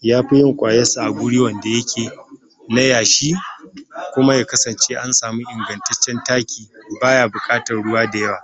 yafi yin kwayan sa a guri wanda yake na yashi na yashi kuma ya kasance an samu ingantaccen taki toh baya buƙatan ruwa dayawa